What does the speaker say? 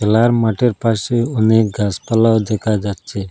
খেলার মাঠের পাশে অনেক গাসপালা দেখা যাচ্ছে।